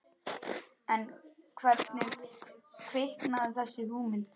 En hvernig kviknaði þessi hugmynd?